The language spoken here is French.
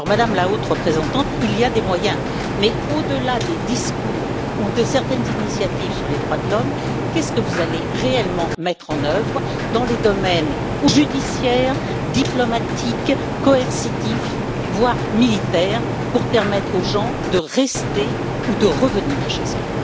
Madame la Haute Représentante, des moyens existent, mais au delà des discours ou de certaines initiatives sur les droits de l'homme, qu'allez vous réellement mettre en œuvre dans les domaines judiciaire, diplomatique, coercitif voire militaire pour permettre aux gens de rester ou de revenir chez eux?